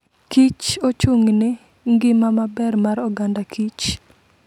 Kich ochung'ne ngima maber mar oganda Kich.